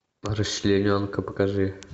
расчлененка покажи